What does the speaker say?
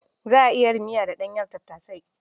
Za a iya yin miya da ɗanyen tattasai.